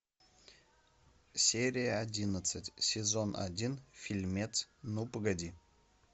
серия одиннадцать сезон один фильмец ну погоди